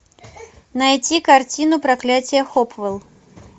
найти картину проклятие хопвелл